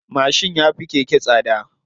Mashin ya fi keke tsada.